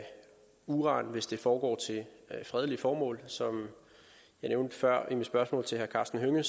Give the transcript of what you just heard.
uran hvis det foregår til fredelige formål som jeg nævnte før i mit spørgsmål til herre karsten hønge